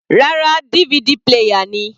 Rárá, DVD player ni.